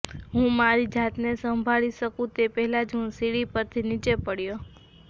હું મારી જાતને સંભાળી શકું તે પહેલા જ હું સીડી પરથી નીચે પડયો